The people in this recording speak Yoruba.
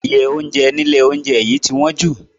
Iye oúnjẹ nílé oúnjẹ yìí ti wọ́n jù.